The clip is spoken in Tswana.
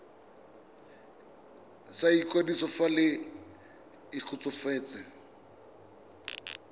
sa ikwadiso fa le kgotsofetse